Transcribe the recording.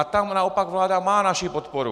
A tam naopak vláda má naši podporu.